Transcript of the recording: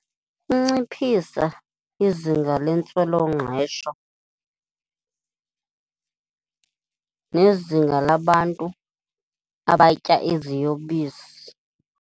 Ukunciphisa izinga lentswelongqesho nezinga labantu abatya iziyobisi.